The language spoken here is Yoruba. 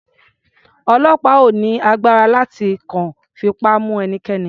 Ọlọ́pàá ò ní agbára láti kàn fipá mu ẹnikẹ́ni.